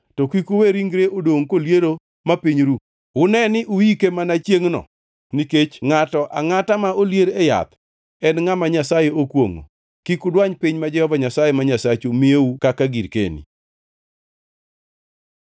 to kik uwe ringre dongʼ koliero ma piny ru. Une ni uike mana chiengʼno nikech ngʼato angʼata ma olier e yath en ngʼama Nyasaye okwongʼo. Kik udwany piny ma Jehova Nyasaye ma Nyasachu miyou kaka girkeni.